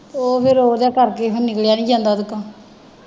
ਉਹ ਫੇਰ ਓਹਦੇ ਕਰਕੇ ਹੁਣ ਨਿਕਲਿਆ ਨਹੀਂ ਜਾਂਦਾ ਓਹਦੇ ਕੋਲੋਂ।